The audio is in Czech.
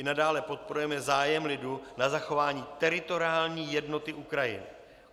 I nadále podporujeme zájem lidu na zachování teritoriální jednoty Ukrajiny.